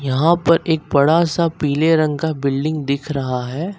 यहां पर एक बड़ा सा पीले रंग का बिल्डिंग दिख रहा है।